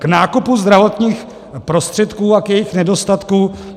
K nákupu zdravotních prostředků a k jejich nedostatku.